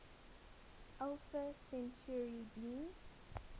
alpha centauri b